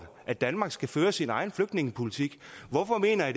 at danmark skal føre sin egen flygtningepolitik hvorfor mener jeg